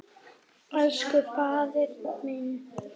Elsku faðir minn.